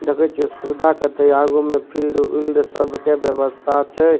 देखे छीये सुविधा कते आगू में फील्ड उल्ड सबके व्यवस्था छै।